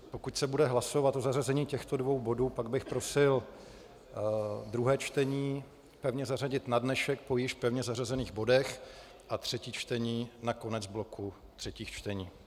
Pokud se bude hlasovat o zařazení těchto dvou bodů, pak bych prosil druhé čtení pevně zařadit na dnešek po již pevně zařazených bodech a třetí čtení na konec bloku třetích čtení.